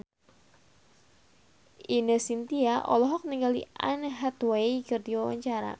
Ine Shintya olohok ningali Anne Hathaway keur diwawancara